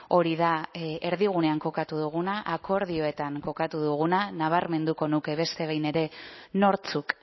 hori da erdigunean kokatu duguna akordioetan kokatu duguna nabarmenduko nuke beste behin ere nortzuk